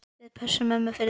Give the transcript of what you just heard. Við pössum ömmu fyrir þig.